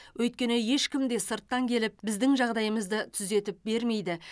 өйткені ешкім де сырттан келіп біздің жағдайымызды түзетіп бермейді